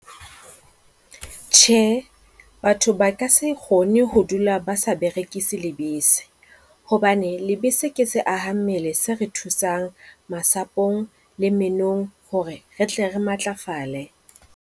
Tjhe, batho ba ka se kgone ho dula ba sa berekise lebese hobane lebese ke se aha mmele se re thusang masapong le menong hore re tle re matlafale.